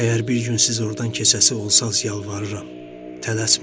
Əgər bir gün siz ordan keçəsi olsanız, yalvarıram, tələsməyin.